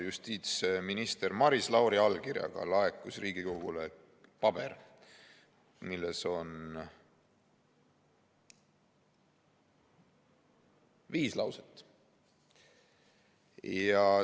Justiitsminister Maris Lauri allkirjaga laekus Riigikogule paber, kus on viis lauset.